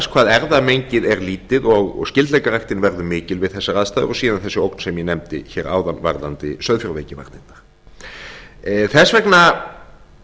hvað erfðamengið er lítið og skyldleikaræktin verður mikil við þessar aðstæður og síðan þessi ógn sem ég nefndi áðan varðandi sauðfjárveikivarnirnar þess vegna